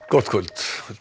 gott kvöld